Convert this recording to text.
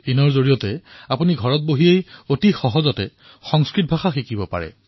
samskritabharatiin ৰ জৰিয়তে ঘৰত বহিয়েই আপুনি সংস্কৃত ভাষা শিকিব পাৰে